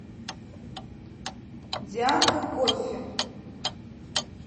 дианка коффи